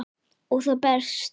Og það berst.